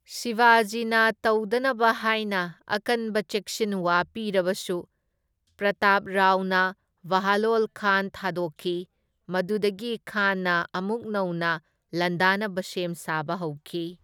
ꯁꯤꯕꯥꯖꯤꯅ ꯇꯧꯗꯅꯕ ꯍꯥꯏꯅ ꯑꯀꯟꯕ ꯆꯦꯛꯁꯤꯟꯋꯥ ꯄꯤꯔꯕꯁꯨ ꯄ꯭ꯔꯇꯥꯞꯔꯥꯎꯅ ꯕꯍꯂꯣꯜ ꯈꯥꯟ ꯊꯥꯗꯣꯛꯈꯤ, ꯃꯗꯨꯗꯒꯤ ꯈꯥꯟꯅ ꯑꯃꯨꯛ ꯅꯧꯅ ꯂꯥꯟꯗꯥꯅꯕ ꯁꯦꯝ ꯁꯥꯕ ꯍꯧꯈꯤ꯫